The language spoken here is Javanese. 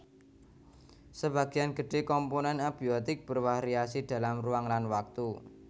Sebagian gedhe komponen abiotik bervariasi dalam ruang lan waktu